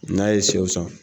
N'a ye sɛw san